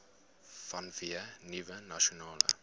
vanweë nuwe nasionale